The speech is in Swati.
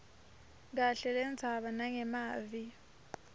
kahle lendzaba nangemavi